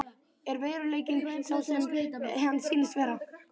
Er veruleikinn sá sem hann sýnist vera?